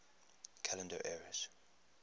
calendar eras